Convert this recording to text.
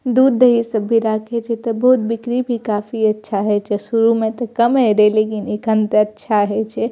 दूध दही इ सब भी राखे छै ते बिक्री भी बहुत काफी अच्छा हेय छै शुरू में ते कम हेय रहे लेकिन एखन ते अच्छा हेय छै।